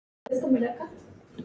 Hún brosti til hans.